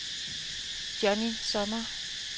Johnny Sommer